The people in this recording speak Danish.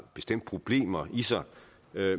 bestemt problemer i sig